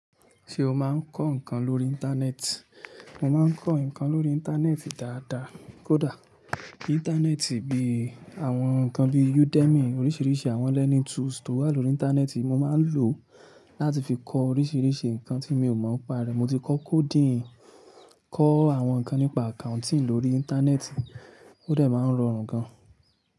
Ṣé o máa ń kọ́ nǹkan lórí Íńtánẹ́ẹ̀tì? Mo máa ń kọ́ nǹkan lórí Íńtánẹ́ẹ̀tì dáadáa. Kódà Íńtánẹ́ẹ̀tì bí àwọn nǹkan bí udemy, oríṣiríṣi àwọn learning tools tó wà lórí Íńtánẹ́ẹ̀tì mo máa ń lò láti fi kọ oríṣiríṣi nǹkan tí mi ò mọ̀ pa rẹ̀. Mo ti kọ́ coding, kọ́ àwọn nǹkan nípa accounting lórí Íńtánẹ́ẹ̀tì ó dẹ̀ máa ń rọrùn gan.